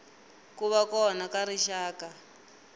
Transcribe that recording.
ku va kona ka rixaka